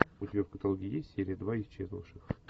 у тебя в каталоге есть серия два исчезнувших